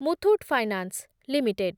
Muthoot finance limited